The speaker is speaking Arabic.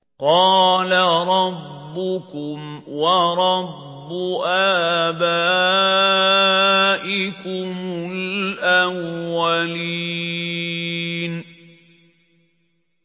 قَالَ رَبُّكُمْ وَرَبُّ آبَائِكُمُ الْأَوَّلِينَ